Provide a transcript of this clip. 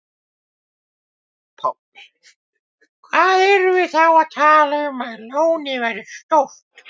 Páll: Hvað erum við þá að tala um að lónið verði stórt?